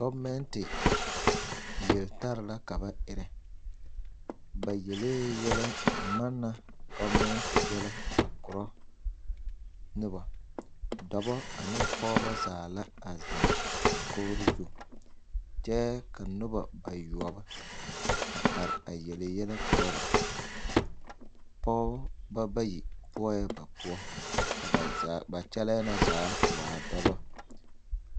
Gɔbenɛte yeltare la ka ba erɛ ba yelee yɛlɛ manna gɔbenɛte yɛlɛ a korɔ noba dɔbɔ ane pɔgeba zaa la zeŋ dakogri zu kyɛ ka noba noba yoɔbo are yele yɛlɛ korɔ ba pɔgeba bayi be la ba poɔ ka ba kyɛlɛɛ na zaa waa dɔbɔ.